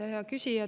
Hea küsija!